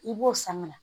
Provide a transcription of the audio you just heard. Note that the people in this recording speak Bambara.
I b'o sanga